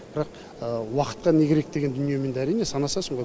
бірақ уақытқа не керек деген дүниемен енді әрине санасың ғой